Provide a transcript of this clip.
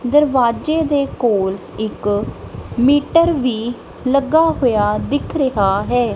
ਦਰਵਾਜੇ ਦੇ ਕੋਲ ਇੱਕ ਮੀਟਰ ਵੀ ਲੱਗਾ ਹੋਇਆ ਦਿਖ ਰਿਹਾ ਹੈ।